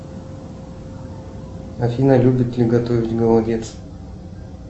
афина любит ли готовить голодец